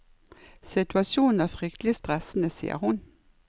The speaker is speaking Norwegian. Situasjonen er fryktelig stressende, sier hun.